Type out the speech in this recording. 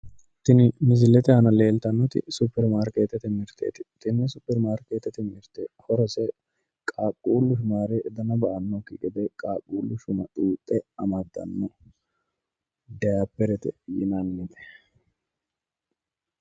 Tini misilete aana leeltannoti suppermaarkeetete mirteeti, tini suppermaarkeetete mirte horose qaaqqullu shumaare dana ba"annokki gede qaaqqullu shuma xuuxxe amaddanno daayipperete yinannite